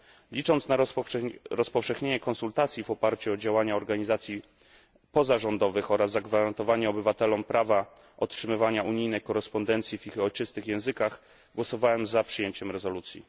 Licząc na rozpowszechnienie konsultacji w oparciu o działania organizacji pozarządowych oraz zagwarantowanie obywatelom prawa otrzymywania unijnej korespondencji w ich ojczystych językach, głosowałem za przyjęciem rezolucji.